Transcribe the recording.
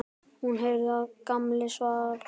Hún heyrði að Gamli svaf.